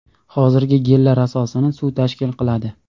Hozirgi gellar asosini suv tashkil qiladi.